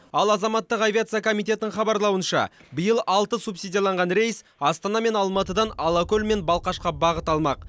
ал азаматтық авиация комитетінің хабарлауынша биыл алты субсидияланған рейс астана мен алматыдан алакөл мен балқашқа бағыт алмақ